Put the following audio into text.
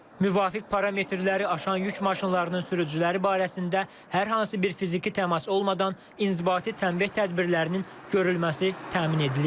Müvafiq parametrləri aşan yük maşınlarının sürücüləri barəsində hər hansı bir fiziki təmas olmadan inzibati təmbeh tədbirlərinin görülməsi təmin edilir.